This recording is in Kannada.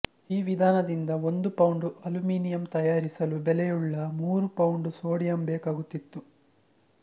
ಈ ವಿಧಾನದಿಂದ ಒಂದು ಪೌಂಡು ಅಲ್ಯೂಮಿನಿಯಂ ತಯಾರಿಸಲು ಬೆಲೆಯುಳ್ಳ ಮೂರು ಪೌಂಡು ಸೋಡಿಯಂ ಬೇಕಾಗುತ್ತಿತ್ತು